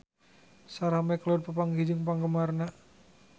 Sarah McLeod papanggih jeung penggemarna